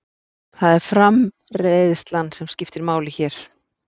Það er framreiðslan sem skiptir máli hér.